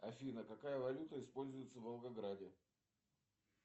афина какая валюта используется в волгограде